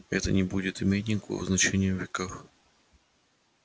это не будет иметь никакого значения в веках